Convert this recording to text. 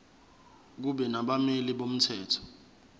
kube nabameli bomthetho